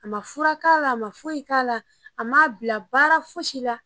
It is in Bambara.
A ma fura k'ala a ma foyi k'ala a m'a bila baara foyi si la